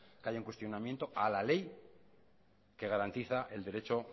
que haya un cuestionamiento a la ley que garantiza el derecho